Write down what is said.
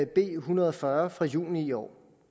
b en hundrede og fyrre fra juni i år